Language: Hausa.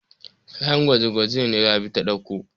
Kayan gwaje-gwaje ne Rabi ta ɗauko.